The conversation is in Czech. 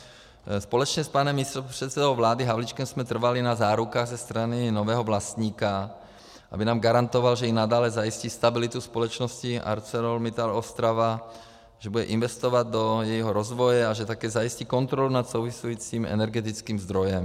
Společně s panem místopředsedou vlády Havlíčkem jsme trvali na zárukách ze strany nového vlastníka, aby nám garantoval, že i nadále zajistí stabilitu společnosti ArcelorMittal Ostrava, že bude investovat do jejího rozvoje a že také zajistí kontrolu nad souvisejícím energetickým zdrojem.